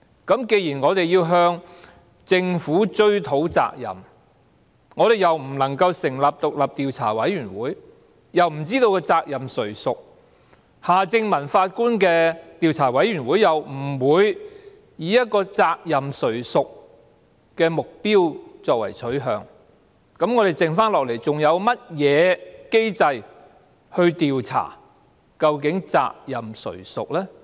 既然我們要向政府追討責任，但又不能成立獨立調查委員會，又不知責任誰屬，而夏正民法官的調查委員會又不會以責任誰屬作為目標和取向，我們剩下來還有甚麼機制可調查究竟責任誰屬呢？